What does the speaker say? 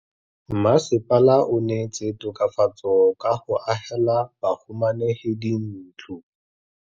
Mmasepala o neetse tokafatsô ka go agela bahumanegi dintlo.